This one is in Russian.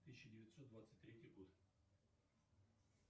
тысяча девятьсот двадцать третий год